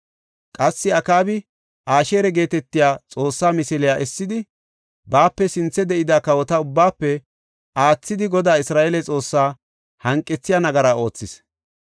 Qassi Akaabi Asheera geetetiya xoosse misiliya essidi, baape sinthe de7ida kawota ubbaafe aathidi Godaa Isra7eele Xoossaa hanqethiya nagara oothis.